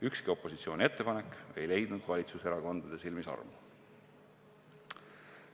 Ükski opositsiooni ettepanek ei leidnud valitsuserakondade silmis armu.